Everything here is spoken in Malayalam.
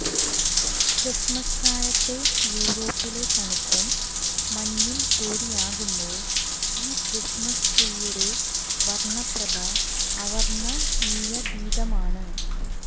ക്രിസ്മസ്കാലത്തെ യൂറോപ്പിലെ തണുപ്പും മഞ്ഞും കൂടിയാകുമ്പോൾ ഈ ക്രിസ്മസ് ട്രീയുടെ വർണപ്രഭ അവർണനീയാതീതമാണ്